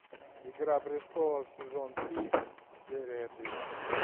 игра престолов сезон три серия три